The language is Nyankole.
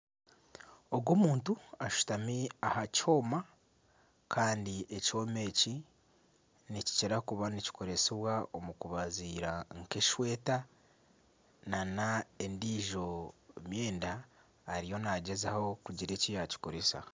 Ogu omuntu ashutami aha kyoma kandi ekyoma eki nikikira kuba nikikoresibwa omu kubaziira nk'esweeta nana endiijo myenda ariyo naagyezaho kugira eki yaakikoresa